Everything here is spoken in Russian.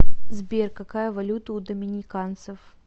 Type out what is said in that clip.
сбер какая валюта у доминиканцев